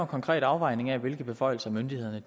konkret afvejning af hvilke beføjelser myndighederne